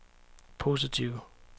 positive